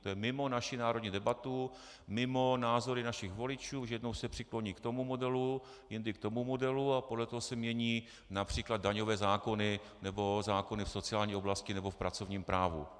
To je mimo naši národní debatu, mimo názory našich voličů, že jednou se přikloní k tomu modelu, jindy k tomu modelu, a podle toho se mění například daňové zákony nebo zákony v sociální oblasti nebo v pracovním právu.